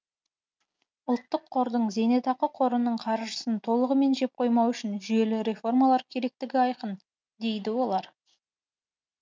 ұлттық қордың зейнетақы қорының қаржысын толығымен жеп қоймау үшін жүйелі реформалар керектігі айқын дейді олар